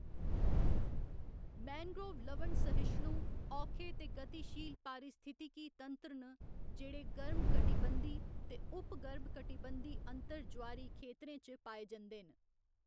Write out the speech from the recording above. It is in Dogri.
मैंग्रोव लवण सहिष्णु, औखे ते गतिशील पारिस्थितिकी तंत्र न जेह्‌‌ड़े गर्म कटिबंधी ते उप गर्म कटिबंधी अंतर ज्वारी खेतरें च पाए जंदे न।